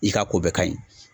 I ka ko bɛ ka ɲi